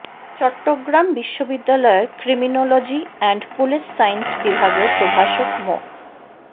চট্টগ্রাম বিশ্ববিদ্যালয়ের criminology and police science বিভাগের প্রভাষক মো